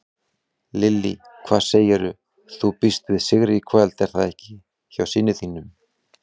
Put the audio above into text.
Lillý: Hvað segirðu, þú býst við sigri í kvöld er það ekki hjá þínum syni?